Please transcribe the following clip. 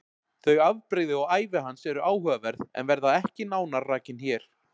Þau afbrigði og ævi hans eru áhugaverð en verða ekki nánar rakin hér.